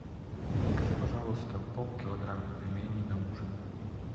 закажи пожалуйста полкилограмма пельменей на ужин